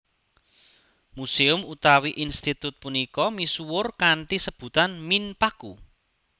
Museum utawi institut punika misuwur kanthi sebutan Minpaku